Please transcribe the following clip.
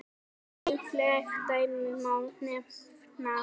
Nýleg dæmi má nefna.